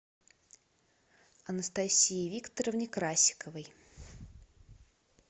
анастасии викторовне красиковой